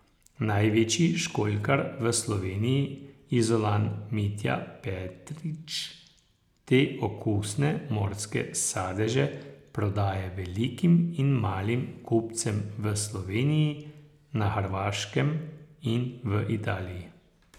Največji školjkar v Sloveniji, Izolan Mitja Petrič, te okusne morske sadeže prodaja velikim in malim kupcem v Sloveniji, na Hrvaškem in v Italiji.